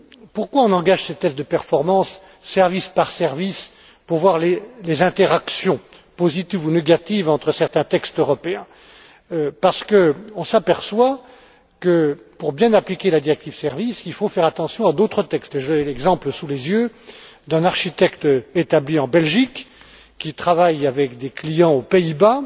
Pourquoi engage t on ces tests de performance service par service pour voir les interactions positives ou négatives entre certains textes européens? Parce qu'on s'aperçoit que, pour bien appliquer la directive sur les services, il faut faire attention à d'autres textes, et j'ai l'exemple sous les yeux d'un architecte établi en Belgique qui travaille avec des clients aux Pays